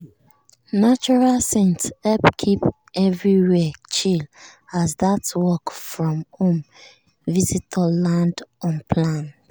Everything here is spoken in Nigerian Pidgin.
neutral scent help keep everywhere chill as that work-from-home visitor land unplanned.